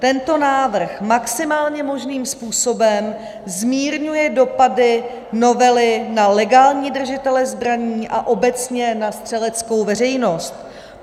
Tento návrh maximálně možným způsobem zmírňuje dopady novely na legální držitele zbraní a obecně na střeleckou veřejnost.